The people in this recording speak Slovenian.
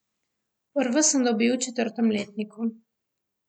Prvo sem dobil v četrtem letniku.